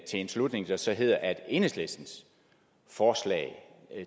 en slutning der så hedder at enhedslistens forslag